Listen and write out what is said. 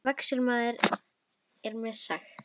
Vaskur maður er mér sagt.